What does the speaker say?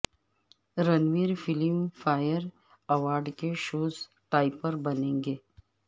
Ranveer Filmfare award کے shows topper بنیں گے